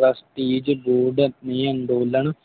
Trusties ਦੇ ਅੰਦੋਲਨ